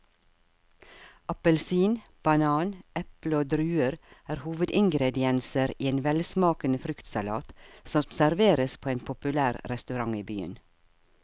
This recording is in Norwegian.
Appelsin, banan, eple og druer er hovedingredienser i en velsmakende fruktsalat som serveres på en populær restaurant i byen.